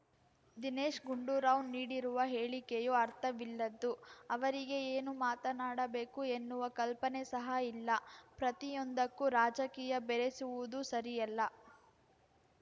ದಿನೇಶ್‌ ಗುಂಡೂರಾವ್‌ ನೀಡಿರುವ ಹೇಳಿಕೆಯೂ ಅರ್ಥವಿಲ್ಲದ್ದು ಅವರಿಗೆ ಏನು ಮಾತನಾಡಬೇಕು ಎನ್ನುವ ಕಲ್ಪನೆ ಸಹ ಇಲ್ಲ ಪ್ರತಿಯೊಂದಕ್ಕೂ ರಾಜಕೀಯ ಬೆರೆಸುವುದು ಸರಿಯಲ್ಲ